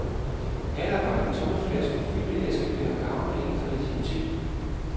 Natarbejde, tomme flasker og fyldte askebægre gavner ikke kreativiteten.